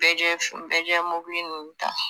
Bɛɛjɛ bɛɛjɛ mobili ninnu ta